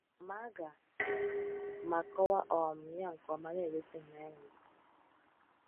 Ma aga m akọwa um ya nke ọma, na-egosi ịhụnanya na ndidi.